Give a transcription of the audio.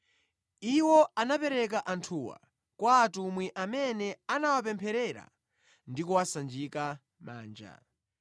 Iwo anapereka anthuwa kwa atumwi amene anawapempherera ndi kuwasanjika manja.